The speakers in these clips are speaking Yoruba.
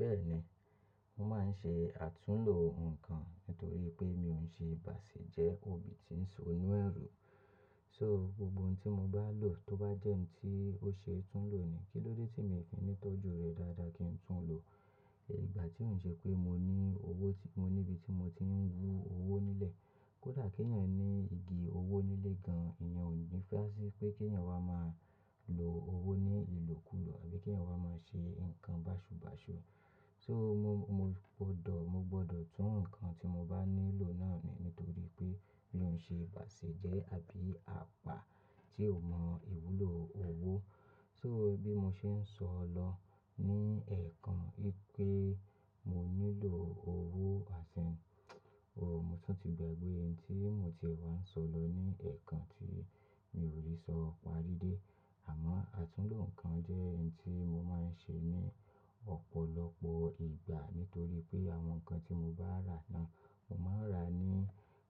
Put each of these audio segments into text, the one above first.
Bẹ́ẹ̀ni, mo máa ń ṣe àtúnlo nǹkan nítorí wipé mi ò ń ṣe ìbàṣẹ̀ jẹ́ òbí tí ń sọ ní ẹ̀rù. So gbogbo ohun tí mo bá lò tó bá jẹ́ ohun tí ó ṣe é tún lo ni, kí ló dé tí mi ò fi ní tọ́jú rẹ dáadáa kí n tún lo? Ìgbà tí ó ń ṣe pé mo ní owó tí mo ní ibi tí mo ti ń wú owó nílẹ̀, kódà kí ènìyàn ní igi owó nílé gan, ènìyàn ò ní fẹ́ à sí pé kí ènìyàn wá máa lo owó ní ìlò kúrò àbí kí ènìyàn wá máa ṣe nǹkan báṣubàṣu. So mo, mo gbọdọ̀, mo gbọdọ̀ tún ohun kan tí mo bá nílò náà nù nítorí pé mi ò ń ṣe ìbàṣẹ̀ jẹ́ àbí apá tí ò mọ ìwúlò owó. So bí mo ṣe ń sọ lọ ní ẹ̀ẹ̀kan pé mo nílò owó àsẹ, òhò, mo tún ti gbàgbé ohun tí mo ti wá ń sọ lọ ní ẹ̀ẹ̀kan tí mi ò lè sọ parí dé. Àmọ́ àtúnlo ǹkan jẹ́ ohun tí mo máa ń ṣe ní ọ̀pọ̀lọpọ̀ ìgbà nítorí pé àwọn nǹkan tí mo bá rà náà, mo máa ń rà ní,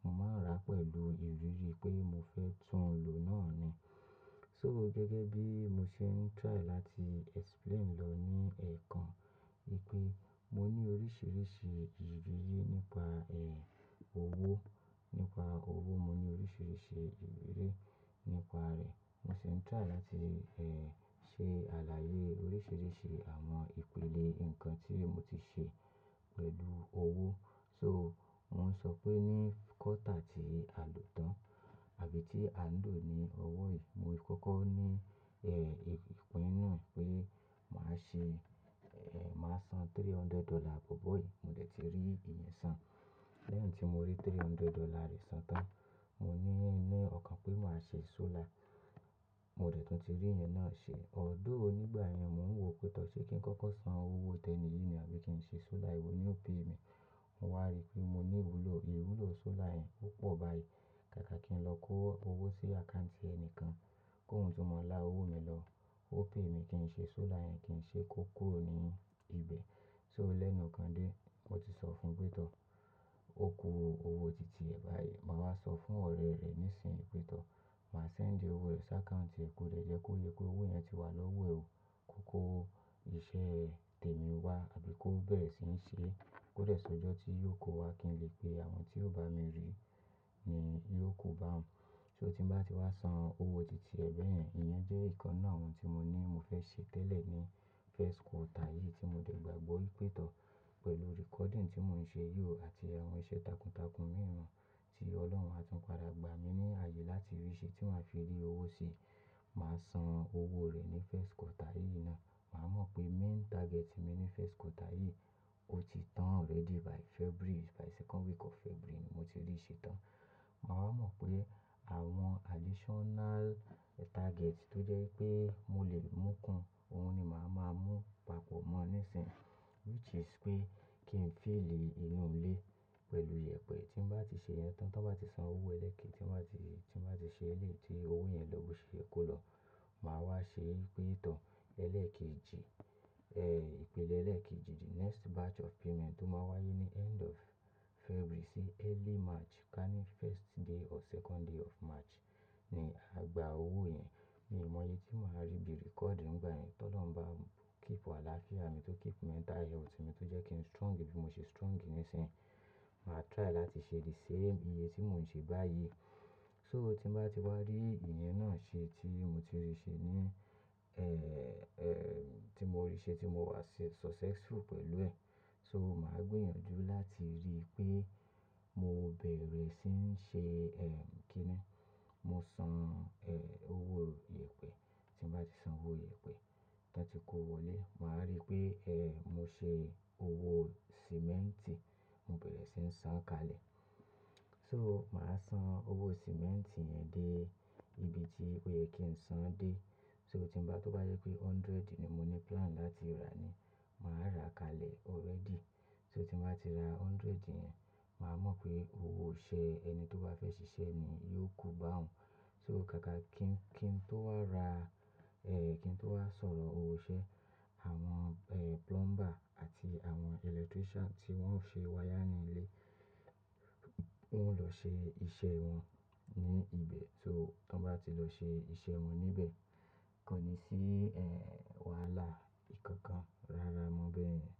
mo máa ń rà pẹ̀lú ìrírí pé mo fẹ́ tún lo náà ni. So gẹ́gẹ́ bí mo ṣe ń try láti explain lọ ní ẹ̀ẹ̀kan wipé mo ní oríṣìíríṣìí ìrírí nípa, eh, owó. Nípa owó, mo ní oríṣìíríṣìí ìrírí nípa rẹ̀. Mo ṣe ń try láti, eh, ṣe àlàyé oríṣìíríṣìí àwọn ìpele nǹkan tí mo ti ṣe pẹ̀lú owó. So wọ́n sọ pé ní quarter tí a lò tán àbí tí a ń lò ní ọwọ́ yìí, mo sì kọ́kọ́ ní, eh, ìpin nínú eé pe màá ṣe, eh, màá san three hundred dollar bó bó yìí, mo dẹ̀ ti rí ìyẹn san. Lẹ́hin tí mo rí three hundred dollar rí san tán, mo ní inú ọkàn pé màá ṣe solar, mo dẹ̀ tún ti rí ìyẹn náà ṣe. Although ní ìgbà yẹn, mò ń wò pé tọ́ ṣé kí n kọ́kọ́ san owó tẹni yìí ni àbí kí n ṣe solar, ewọ ni o pay mi. Mo wá rí pé mo ní ìwúlò, ìwúlò solar yẹn ó pọ̀ báyìí. Kàkà kí n lọ kó owó sí account ẹni kan kó ń tún mọ lá owó mi lọ, ó pay mi kí n ṣe solar yẹn, kí n ṣe é kó kúrò ní ibẹ̀. So lẹ́nu kan dé, mo ti sọ fún pé tọ́, ó kó owó titi ẹ̀ báyìí. Màá wá sọ fún ọ̀rẹ́ rẹ nísìnyí pé tọ́, màá send owó rẹ̀ sí account rẹ̀ kó dẹ̀ jẹ́ kó yé pé owó yẹn ti wà lọ́wọ́ ẹ ó. Kókó iṣẹ́ tẹ̀mi wá àbí kó bẹ̀rẹ̀ sí ń ṣe é, kó dẹ̀ sọ ọjọ́ tí yóò kó wá kí n ri pe àwọn tí ó bá mi rí ní yóò kó bá wọn. So tí ń bá ti wá san owó titi ẹ̀ beyen, ìyẹn jẹ́ ìkan náà àwọn tí mo ní mo fẹ́ ṣe tẹ́lẹ̀ ní first quarter yìí tí mo dẹ̀ gbàgbọ́ ìpé tọ́ pẹ̀lú recording tí mò ń ṣe yó àti àwọn iṣẹ́ takuntakun mìíràn tí Ọlọ́run á tún padà gbà mí ní ààyè láti rí ṣẹ tí màá fi rí owó sí. Màá san owó rẹ̀ ní first quarter yìí náà. Màá mọ̀ pé main target mi ní first quarter yìí ó ti tán already by February, by second week of February ni mo ti rí i ṣe tán. Màá wá mọ̀ pé àwọn additional target tó jẹ́ pé mo lè mú kun, òun ni màá máa mú papọ̀ mọ́ nísìnyí which is pé kí n fìll inú ilé pẹ̀lú ìyẹ̀pẹ̀. Tí ń bá ti ṣe ìyẹn tán, tí wọ́n bá ti san owó ẹlẹ́ẹ̀kejì, tí ń bá ti, tí ń bá ti ṣe eléyi tí owó yẹn lọ́ bo ṣe ye kó lọ, màá wá ṣe ìpé tọ́ ẹlẹ́ẹ̀kejì, eh, ìpele ẹlẹ́ẹ̀kejì, the next batch of payment tó máa wáyé ní end of February sí early March ká ní first day or second day of March ni à gba owó yẹn. Mi ò mọye tí màá rí bí record ńigba yen, ti ọlọ́run bá keep àlàáfíà mi tó keep mental health mi tó jẹ́ kí n strong bí mo ṣe strong nísìnyí. Màá try láti ṣe the same iye tí mò ń ṣe báyìí. So tí ń bá ti wá rí ìyẹn náà ṣe tí mo ti rí ṣe ní, eh, eh, tí mo rí ṣe tí mo wà successful pẹ̀lú ẹ̀, so màá gbìyànjú láti rí pé mo bẹ̀rẹ̀ sí ń ṣe, eh, kí ni? Mo san, eh, owó ìyẹ̀pẹ̀. Tí ń bá ti san owó ìyẹ̀pẹ̀, tí wọ́n ti kó o wọlé, màá rí pé, eh, mo ṣe owó sìmẹ́ǹtì, mo bẹ̀rẹ̀ sí ń san kalẹ̀. So màá san owó sìmẹ́ǹtì yẹn dé ibi tí ó yẹ kí n san dé. So tí ń bá, tó bá yé pé hundred ni mo ní plan láti rà ni, màá ra kalẹ̀ already. So tí ń bá ti ra hundred yẹn, màá mọ̀ pé owó iṣẹ́ ẹni tó bá fẹ́ ṣiṣẹ́ ni yóò kó báun. So kàkà kí n, kí n tó wá ra, eh, kí n tó wá sọ̀rọ̀ owó iṣẹ́ àwọn, eh, plumber àti àwọn electrician tí wọ́n ó ṣe wire ní ilé, wọ́n lọ ṣe iṣẹ́ wọn ní ibẹ̀. So tí wọ́n bá ti lọ ṣe iṣẹ́ wọn níbẹ̀, kò ní sí, eh, wàhálà ìkankan. Rárá, mo bẹ̀rẹ̀.